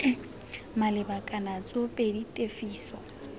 maleba kana c tsoopedi tefiso